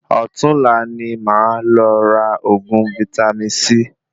Ọ̀tunla ní máa lọ ra oògùn vítámì C